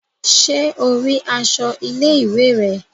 Ṣe o ríi aṣọ ilé-ìwé rẹ?